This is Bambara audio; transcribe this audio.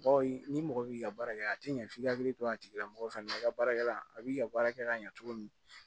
Mɔgɔ ni mɔgɔ b'i ka baara kɛ a tɛ ɲɛ f'i ka hakili to a tigilamɔgɔ fana na i ka baarakɛla a b'i ka baara kɛ ka ɲɛ cogo min